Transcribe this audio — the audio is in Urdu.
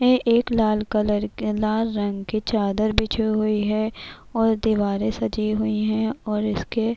یہ ایک لال کلر کے لال رنگ کے چادر بچھی ہوئی ہے اور دوارے سجی ہوئی ہے اور اسکے--